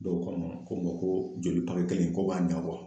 Dɔw ko n ma ko ma ko joli kelen ko k'a ɲɛ